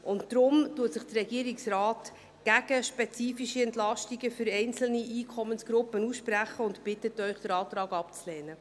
Deshalb spricht sich der Regierungsrat gegen spezifische Entlastungen für einzelne Einkommensgruppen aus und bittet Sie, den Antrag abzulehnen.